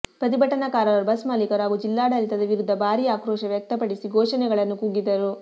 ಪ್ರತಿಭಟನಾಕಾರರು ಬಸ್ ಮಾಲೀಕರು ಹಾಗೂ ಜಿಲ್ಲಾಡಳಿತದ ವಿರುದ್ಧ ಭಾರೀ ಆಕ್ರೋಶ ವ್ಯಕ್ತಪಡಿಸಿ ಘೋಷಣೆಗಳನ್ನು ಕೂಗಿದರು